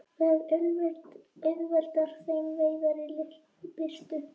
Það auðveldar þeim veiðar í lítilli birtu.